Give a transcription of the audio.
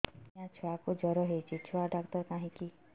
ଆଜ୍ଞା ଛୁଆକୁ ଜର ହେଇଚି ଛୁଆ ଡାକ୍ତର କାହିଁ କି